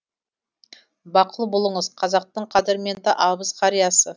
бақұл болыңыз қазақтың қадірменді абыз қариясы